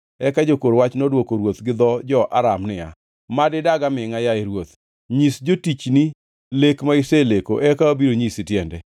Eka jokor wach nodwoko ruoth gi dho jo-Aram niya, “Mad idag amingʼa, yaye ruoth nyis jotichni lek ma iseleko eka wabiro nyisi tiende.”